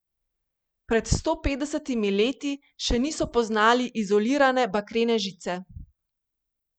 Pred sto petdesetimi leti še niso poznali izolirane bakrene žice.